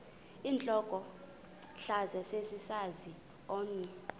intlokohlaza sesisaz omny